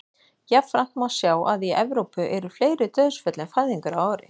Jafnframt má sjá að í Evrópu eru fleiri dauðsföll en fæðingar á ári.